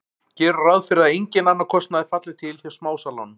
Gerum ráð fyrir að enginn annar kostnaður falli til hjá smásalanum.